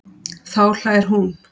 Þá hlær hún.